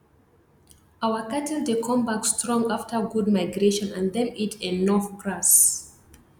our cattle dey come back strong after good migration and them eat enough grass